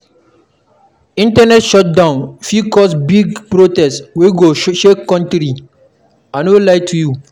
Internet shutdown fit cause big protest wey go shake country. I no lie to you